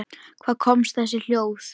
Hvaðan koma þessi hljóð?